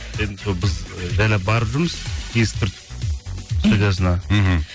енді сол біз жайлап барып жүрміз есік түртіп студиясына мхм